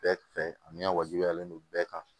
Bɛɛ fɛ ani ka wajibiyalen don bɛɛ kan